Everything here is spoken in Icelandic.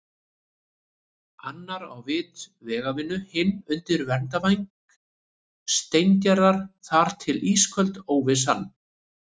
Annar á vit vegavinnu, hinn undir verndarvæng Steingerðar- þar til ísköld óvissan.